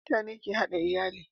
mutane ke hada iyali